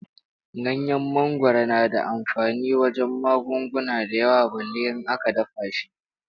Ganyen mangwaro na da amfani wajen magunguna da yawa balle in aka dafa shi.